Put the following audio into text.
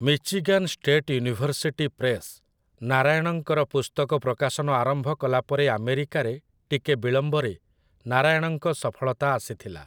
Michigan state university press ନାରାୟଣଙ୍କର ପୁସ୍ତକ ପ୍ରକାଶନ ଆରମ୍ଭ କଲାପରେ ଆମେରିକାରେ, ଟିକେ ବିଳମ୍ବରେ, ନାରାୟଣଙ୍କ ସଫଳତା ଆସିଥିଲା ।